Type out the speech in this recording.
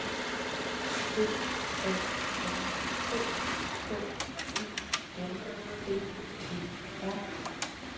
B A N K K U N D E R